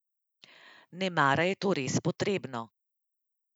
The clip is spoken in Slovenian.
Nemara je to res potrebno.